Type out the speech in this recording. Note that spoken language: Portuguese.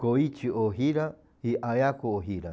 Koichi Ohira e Ayako Ohira.